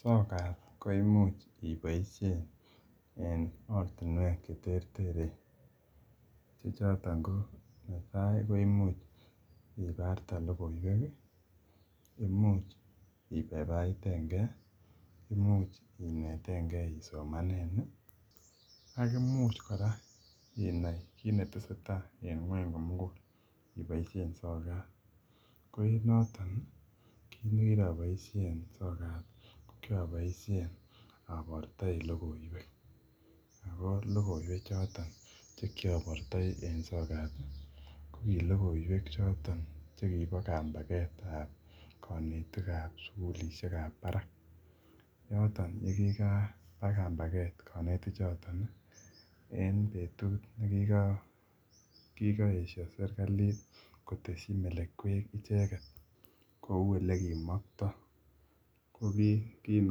sokat koimuch iboishen en ortinuek cheterteren chechoton ko netai koimuch ibarte logoiweki imuch ibaibaitenge imuch inetenkee isomaneni ak imuch kora inai kit netesetai en ngwony komugul iboishen sokat koenotok kitnekiroboishen sokta kiroboishen abortoen logoiwek choton chekiobortoi en sokati ko kilogoiwek choton chekibo kambagetab konetikab sugulishekab barak yoto yekikaba kambaget konetich chotoni en betut nekikoesho serkalit koteshi melekwek icheket kou ele kimokto kokin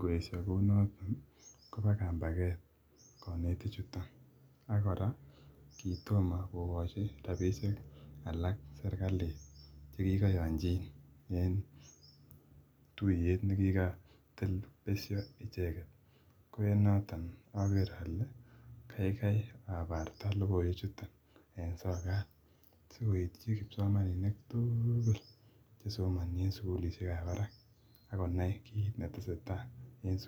koeshe kounotok koba kambaget konetichuton ak kora kitomo kokochi rapishek alak serkali chekikoyonchin en tuyet ake nekikotebi besho icheket koenotok aker ole kaikai abarta logoiwechuton en sokat sikoityi kipsomaninik tugul chesomoni en sugulishe chebo barak akonai kit neteseta en sugulishek